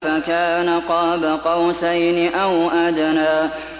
فَكَانَ قَابَ قَوْسَيْنِ أَوْ أَدْنَىٰ